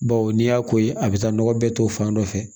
Bawo n'i y'a ko ye a bɛ taa nɔgɔ bɛɛ to fan dɔ fɛ